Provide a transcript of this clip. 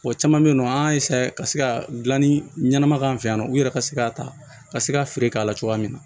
Wa caman be yen nɔ an y'a ka se ka gilanni ɲɛnama k'an fɛ yan nɔ u yɛrɛ ka se ka ta ka se ka feere k'a la cogoya min na